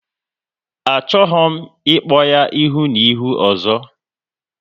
Achọghị m ịkpọ ya ihu na ihu ọzọ!